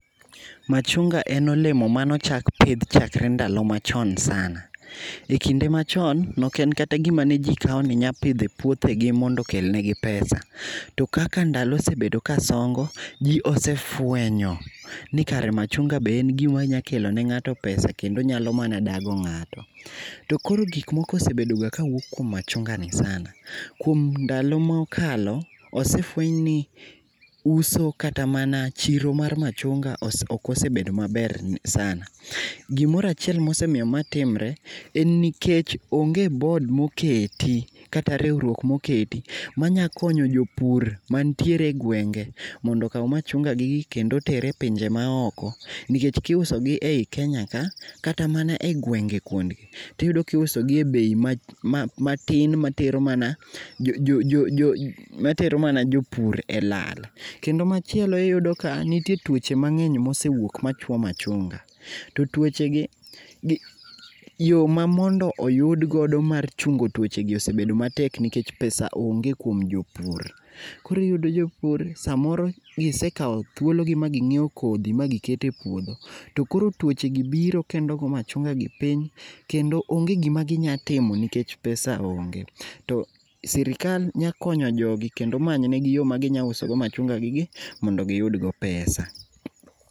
Machunga en olemo mane ochak pidh chakre ndalo machon sana. Ekinde machon noken kata gima ne jii kao ni nya pidho e puothegi mondo okel negi pesa, to kaka ndalo osebedo kasongo, jii osefwenyo ni machunga be gima nyalo kelo ne ngato pesa kendo nyalo dago ngato. To koro gik moko osebedo ga kawuok kuom machungani sana, kuom ndalo ma okalo, osefweny ni uso kata mana chiro mar machunga ok osebedo maber sana. Gimoro achiel mosemiyo ma timre en nikech onge bod oketi kata riwruok moketi manya konyo jopur mantiere e gwenge mondo okaw machunga gi gi kendo oter e pinje maoko nikech kiusogi e Kenya ka kata mana e gwenge kuondgi, tiyudo kiusogi e bei matin matero mana jopur e lal. Kendo machielo iyudo ka nitie tuoche mangeny mosewuok machuo machunga, to tuoche gi, yoo mamondo oyudgo mar chungo tuochegi osebedo matek nikech pesa[sc] onge kuom jopur. Koro iyudo jopur samoro gisekao thuologi maginyiew kodhi magiketo e puodho to koro tuochegi biro to go machunga gi piny to onge gima ginya timo nikech pesa onge. To sirikal nya konyo jogi kendo ma manyneg yoo maginya usogo machunga gi gi mondo giyud go pesa